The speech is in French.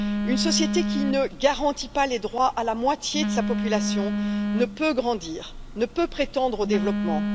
Une société qui ne garantit pas les droits à la moitié de sa population ne peut grandir, ne peut prétendre au développement.